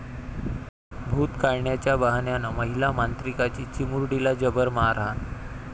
भूत काढण्याच्या बहाण्यानं महिला मांत्रिकाची चिमुरडीला जबर मारहाण